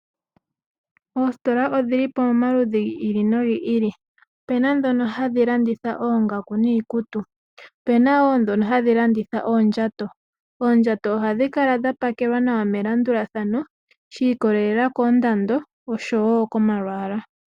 Oositola odhili pamaludhi gi ili nogi ili, opuna ndhono hadhi landitha oongaku niikutu, opuna woo ndhono hadhi landitha oondjato, oondjato ohadhi kala dha pakelwa nawa melandulathano shi ikolelela koondando osho wo komalwaala.